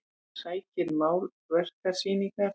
Hún sækir málverkasýningar